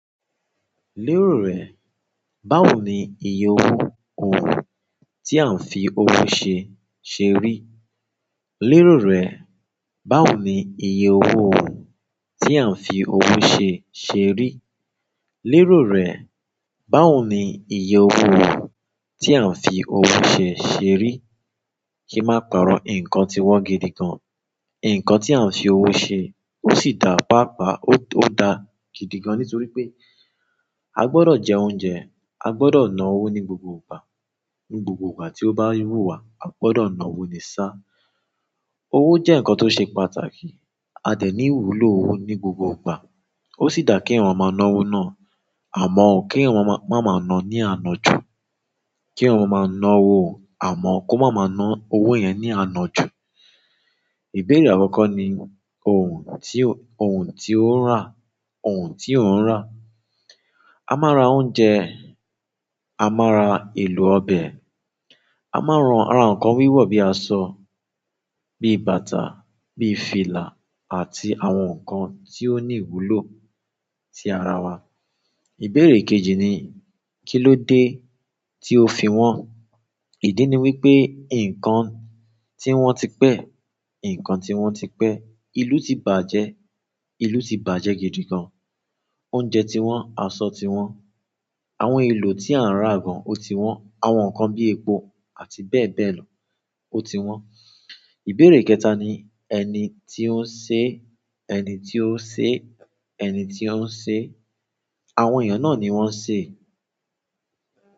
Lérò rẹ̀, báwo ni iye owó uhn, tí à ń fi owó ṣe, ṣe rí? Lérò rẹ̀, báwo ni iye owó o, tí à ń fi owó ṣe, ṣe rí? Lérò rẹ̀, báwo ni iye owó o, tí à ń fi owó ṣe, ṣe rí? Kí má parọ́ nǹkan ti wọ́n gidigan. Nǹkan tí a ń fi owó ṣe, ó sì dà páapaa, ó dà gidi gan-an nítorí pé a gbọdọ̀ jẹ oúnjẹ, a gbọdọ̀ na owó ní gbogbo ìgbà. Ní gbogbo ìgbà tí ó bá wúwa, a gbọdọ̀ na owó ni sá. Owo je nkan to se pàtàkì, a de ni ìwúlò owo ni gbogbo ìgbà. Ó sì dà kí èèyàn máa na owó náà, àmọ́ kí èèyàn má máa na ní àná jù. Kí èèyàn maa máa na owó, àmọ́ kó má máa na owó yẹn ní àná jù. Ìbéèrè àkọ́kọ́ ni òun tí ó, òun tí ó ń rà, òun tí ó ń rà. A máa ra oúnjẹ, a máa ra èlò ọbẹ̀, a máa ran- ra nǹkan wíwọ̀ bíi aṣọ, bíi bàtà, bíi fìlà àti àwọn nǹkan tí ó ní ìwúlò sí ara wa. Ìbéèrè kejì ni kí ló dé tí o fi wọn. Ìdí ni wípé nǹkan tín wón ti pẹ́, nǹkan tín wón ti pẹ́, ìlú ti bàjẹ́, ìlú ti bàjẹ́ gidi gan. Oúnjẹ ti wọ́n, aṣọ ti wọ́n, àwọn èlò tí a ń rà gan o ti wọ́n. Àwọn nǹkan bíi epo àti bẹ́ẹ̀ bẹ́ẹ̀ lọ o ti wọ́n. Ìbéèrè kẹta ni ẹni tí ó ń ṣe, ẹni tí ó ṣe, ẹni tí ó ń ṣe. Àwọn èèyàn náà ni wọ́n ṣe.